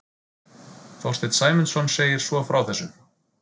Þorsteinn Sæmundsson segir svo frá þessu: